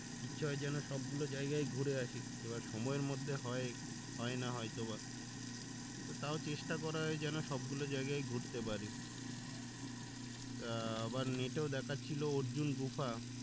ইচ্ছে হয় যেন সব গুলো জায়গাই ঘুরে আসি এবার সময়ের মধ্যে হয় হয়না হয় তো বা তো তাও চেষ্টা করা হয় যেন সব জায়গায় ঘুরতে পারি তা আবার net এও দেখাচ্ছিলো অর্জুন গুহা